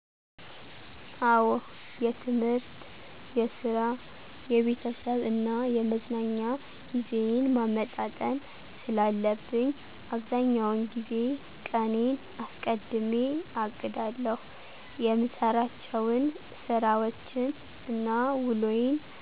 አዎ የትምህርት፣ የስራ፣ የቤተሰብ እና የመዝናኛ ጊዜዬን ማመጣጠን ስላለብኝ አብዛኛውን ጊዜ ቀኔን አስቀድሜ አቅዳለሁ። የምሰራቸውን ስራወችን እና ውሎዬን